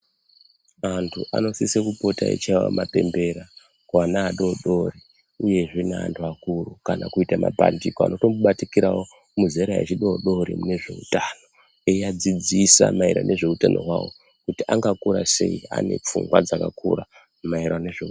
Antu anosise kupote achichaye mapembera kuana adodori uyezve neuanhu akuru kana kuite mapandiko anotombobatikirawo muzera rechidodori munezveutano eiadzidzisa maererano nezveutano hwavo kuti angakura sei anepfungwa dzakakura maererano nezveuutano.